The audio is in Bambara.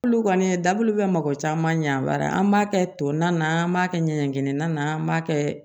Bulu kɔni ye dabulu bɛ mɔgɔ caman ɲɛ wɛrɛ an b'a kɛ to na an b'a kɛ ɲɛgɛnkɛnɛnan an b'a kɛ